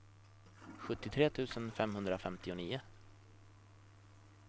sjuttiotre tusen femhundrafemtionio